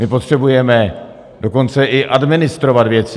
My potřebujeme dokonce i administrovat věci.